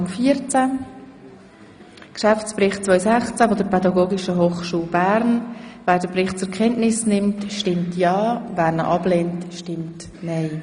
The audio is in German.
Wer den Geschäftsbericht 2016 der Pädagogischen Hochschule Bern zur Kenntnis nimmt, stimmt ja, wer dies ablehnt, stimmt nein.